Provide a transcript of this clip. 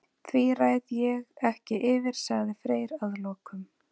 Því ræð ég ekki yfir, sagði Freyr að lokum.